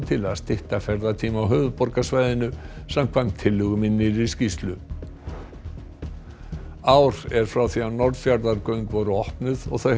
til að stytta ferðatíma á höfuðborgarsvæðinu samkvæmt tillögum í nýrri skýrslu ár er frá því að Norðfjarðargöng voru opnuð og þau